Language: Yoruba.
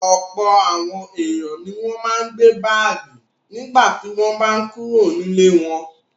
Ọ̀pọ̀ àwọn ènìyàn ni wọ́n máa ń gbé báágì nígbà tí wọ́n bá kúrò nílé wọn.